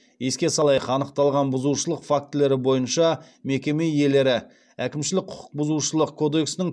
еске салайық анықталған бұзушылық фактілері бойынша мекеме иелері әкімшілік құқық бұзушылық кодексінің